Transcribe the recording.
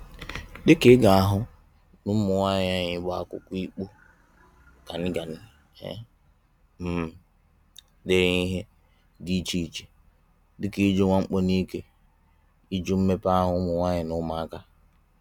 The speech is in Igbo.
Dịka ị ga-ahụ na ụmụnwaanyị anyị bu akwụkwọ ịkpọ ganigani e um dere ihe dị iche iche dị ka ijụ mwakpo n'ike, ijụ mmekpa ahụ ụmụnwaanyị na ụmụaka.